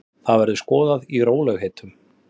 Það verður skoðað í rólegheitum.